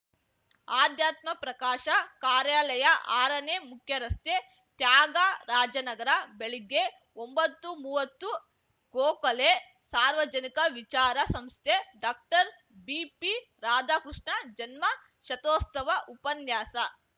ಆಧ್ಯಾತ್ಮ ಪ್ರಕಾಶ ಕಾರ್ಯಾಲಯ ಆರನೇ ಮುಖ್ಯರಸ್ತೆ ತ್ಯಾಗರಾಜನಗರ ಬೆಳಿಗ್ಗೆ ಒಂಬತ್ತುಮುವ್ವತ್ತು ಗೋಖಲೆ ಸಾರ್ವಜನಿಕ ವಿಚಾರ ಸಂಸ್ಥೆ ಡಾಕ್ಟರ್ ಬಿಪಿ ರಾಧಾಕೃಷ್ಣ ಜನ್ಮಶತೋಸ್ತವ ಉಪನ್ಯಾಸ